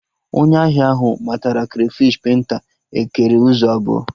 Onye ahịa ahụ matara krafish penta ekere ụzọ abụọ